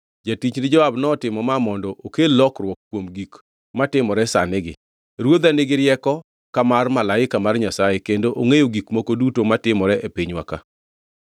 Jatichni Joab notimo ma mondo okel lokruok kuom gik matimore sanigi. Ruodha nigi rieko ka mar malaika mar Nyasaye kendo ongʼeyo gik moko duto matimore e pinywa ka.”